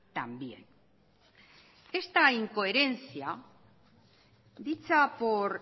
también esta incoherencia dicha por